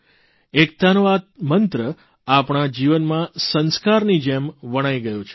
એકતાનો આ મંત્ર આપણા જીવનમાં સંસ્કારની જેમ વણાઇ ગયો છે